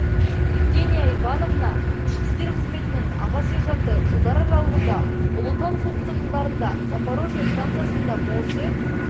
евгения ивановна ішкі істер қызметінің аға сержанты жылдар аралығында ұлы отан соғысы жылдарында запорожье станциясында морзе